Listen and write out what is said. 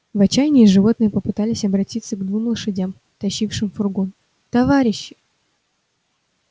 в отчаянии животные попытались обратиться к двум лошадям тащившим фургон товарищи